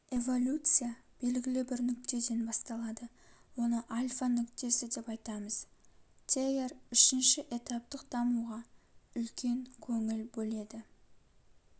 эволюция белгілі бір нүктеден басталады оны альфа нүктесі деп айтамыз тейяр үшінші этаптық дамуға үлкен көңіл бөледі